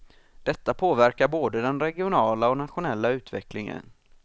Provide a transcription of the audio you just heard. Detta påverkar både den regionala och nationella utvecklingen.